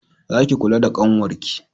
Za ki kula da ƙanwar ki!